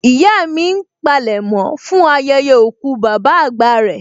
Ìyá mi ń palẹ̀mọ́ fún ayẹyẹ òkú bàbá àgbà rẹ